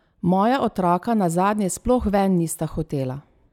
Moja otroka nazadnje sploh ven nista hotela!